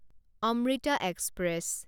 Amrita express